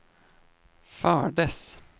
fördes